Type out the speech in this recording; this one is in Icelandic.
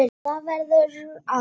Það verður Alda.